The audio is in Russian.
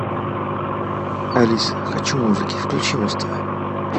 алиса хочу музыки включи муз тв